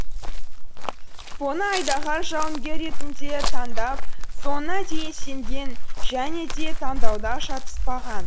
поны айдаһар жауынгері ретінде таңдап соңына дейін сенген және де таңдауда шатыспаған